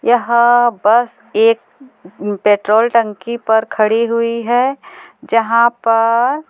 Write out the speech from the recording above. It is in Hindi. यह बस एक पेट्रोल टंकी पर खड़ी हुई है जहाँ पर--